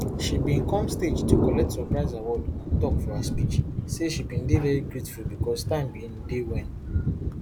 she bin come stage to collect surprise award and tok for her speech say she bin dey very grateful becos time bin dey wen